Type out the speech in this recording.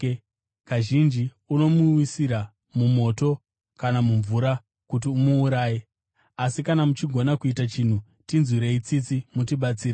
Kazhinji unosimuwisira mumoto kana mumvura kuti umuuraye. Asi kana muchigona kuita chinhu, tinzwirei tsitsi mutibatsire.”